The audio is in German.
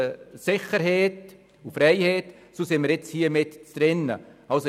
Hier befinden wir uns nun mitten in diesem Spannungsfeld.